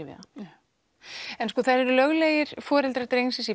hann það eru löglegir foreldrar drengsins